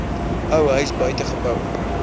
ou huis buitegeboue